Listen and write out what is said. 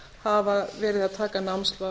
hafa verið að taka námslán